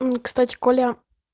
мм кстати коля